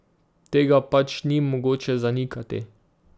Tega pač ni mogoče zanikati.